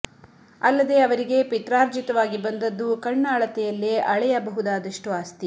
ಅಲ್ಲದೆ ಅವರಿಗೆ ಪಿತ್ರಾರ್ಜಿತವಾಗಿ ಬಂದದ್ದು ಕಣ್ಣ ಅಳತೆಯಲ್ಲೇ ಅಳೆಯ ಬಹುದಾದಷ್ಟು ಆಸ್ತಿ